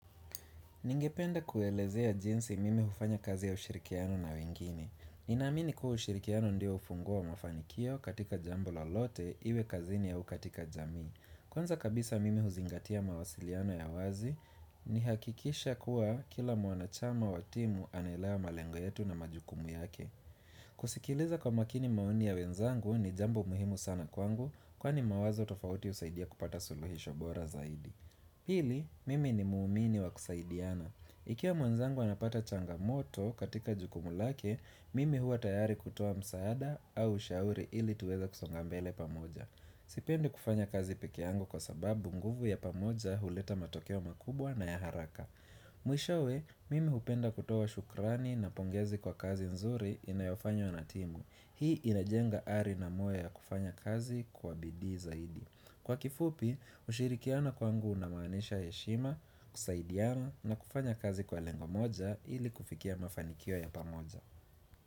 Ningependa kuelezea jinsi mimi hufanya kazi ya ushirikiano na wengine. Ninamini kuu ushirikiano ndio ufunguo wa mafanikio katika jambo lolote iwe kazini au katika jami. Kwanza kabisa mimi huzingatia mawasiliano ya wazi nihakikisha kuwa kila mwanachama wa timu anelewa malengo yetu na majukumu yake. Kusikiliza kwa makini maoni ya wenzangu ni jambo muhimu sana kwangu kwani mawazo tofauti husaidia kupata suluhisho bora zaidi. Pili, mimi ni muumini wa kusaidiana. Ikiwa mwanzangu anapata changamoto katika jukumu lake, mimi hua tayari kutoa msaada au ushauri ili tuweza kusonga mbele pamoja. Sipende kufanya kazi pekee yangu kwa sababu nguvu ya pamoja huleta matokeo makubwa na ya haraka. Mwishowe, mimi hupenda kutoa shukrani na pongezi kwa kazi nzuri inayofanywa na timu. Hii inajenga ari na moyo ya kufanya kazi kwa bidii zaidi. Kwa kifupi, ushirikiano kwangu unamanisha heshima, kusaidiana na kufanya kazi kwa lengo moja ili kufikia mafanikio ya pamoja.